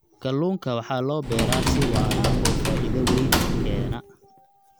Kalluunka waxaa loo beeraa si waara oo faa'iido weyn u keena.